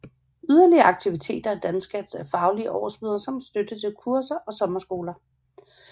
Yderligere aktiviteter i DanScatts er faglige årsmøder samt støtte til kurser og sommerskoler